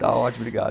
Tá ótimo, obrigado.